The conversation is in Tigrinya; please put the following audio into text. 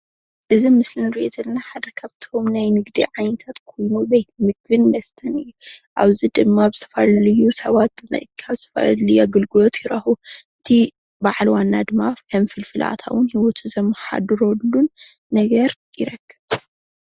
እዚ ኣብ ምስሊ እንሪኦ ዘለና እዚ ሓደ ካብእቶም ናይ ንግዲ ዓትነታት ኮይኑ ቤት ምግብን መስተን እዩ፡፡ ኣብዚ ድማ ዝተፈላለዩ ሰባት ብምእካብ ዝተፈላለየ ኣገልግሎት ይረክቡ፡፡ እቲ በዓል ዋና ድማ ፍልፍል ኣታዊ ሂወቱ ዘማሓድረሉን ነገር ይረክብ፡፡